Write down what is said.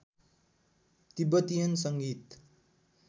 Tibetan सँगीत